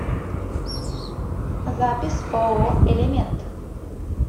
запись ооо элемент